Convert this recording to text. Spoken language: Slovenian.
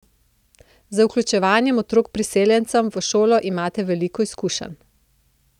Z vključevanjem otrok priseljencev v šolo imate veliko izkušenj.